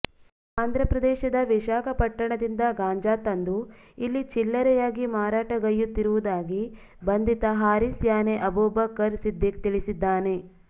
ಆಂಧ್ರಪ್ರದೇಶದ ವಿಶಾಖಪಟ್ಟಣದಿಂದ ಗಾಂಜಾ ತಂದು ಇಲ್ಲಿ ಚಿಲ್ಲರೆಯಾಗಿ ಮಾರಾಟಗೈಯ್ಯುತ್ತಿರು ವುದಾಗಿ ಬಂಧಿತ ಹಾರಿಸ್ ಯಾನೆ ಅಬೂಬಕ್ಕರ್ ಸಿದ್ದಿಕ್ ತಿಳಿಸಿದ್ದಾನೆ